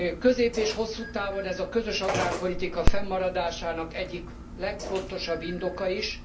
Közép és hosszú távon ez a közös agrárpolitika fennmaradásának egyik legfontosabb indoka is.